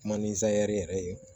Kuma ni zɛri yɛrɛ ye